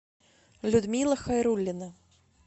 людмила хайруллина